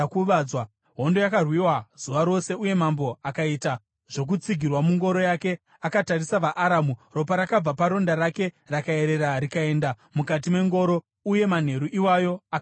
Hondo yakarwiwa zuva rose, uye mambo akaita zvokutsigirwa mungoro yake akatarisa vaAramu. Ropa rakabva paronda rake rakaerera rikaenda mukati mengoro, uye manheru iwayo akabva afa.